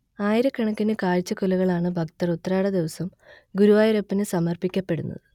ആയിരക്കണക്കിന് കാഴ്ചകുലകളാണ് ഭക്തർ ഉത്രാടദിവസം ഗുരുവായൂരപ്പനു സമർപ്പിക്കപ്പെടുന്നത്